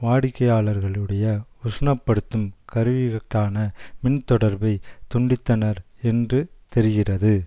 வாடிக்கையாளர்களுடைய உஷ்ணப்படுத்தும் கருவிகளுக்கான மின்தொடர்பை துண்டித்தனர் என்று தெரிகிறது